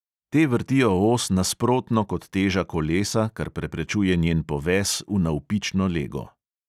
Te vrtijo os nasprotno kot teža kolesa, kar preprečuje njen poves v navpično lego.